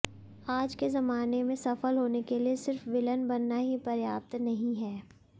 आज के जमाने में सफल होने के लिए सिर्फ विलेन बनना ही पर्याप्त नहीं है